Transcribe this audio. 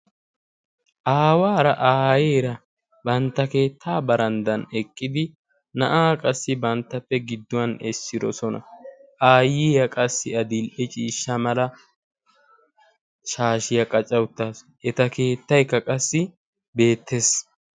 aawaara aayeera bantta keettaa baranddan eqqidi na7aa qassi banttappe gidduwan essidosona. aayyiyaa qassi adiil77e ciishsha mala shaashiyaa qacca uttaasu. eta keettaykka qassi beettees.